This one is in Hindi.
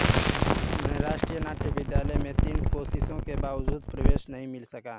उन्हे राष्ट्रीय नाट्य विद्यालय मे तीन कोशिशों के बावजूद प्रवेश नही मिल सका